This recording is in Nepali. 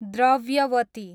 द्रव्यवती